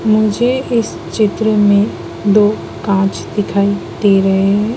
मुझे इस चित्र में दो कांच दिखाई दे रहे हैं।